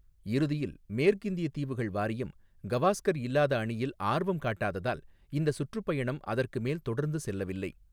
இறுதியில் மேற்கிந்திய தீவுகள் வாரியம் கவாஸ்கர் இல்லாத அணியில் ஆர்வம் காட்டாததால் இந்த சுற்றுப்பயணம் அதற்கு மேல் தொடர்ந்து செல்லவில்லை.